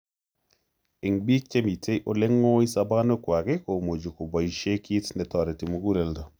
Eng' biik chemitei ole ng'oi sobonwekwak komuchi koboishe kiit netoreti muguleldo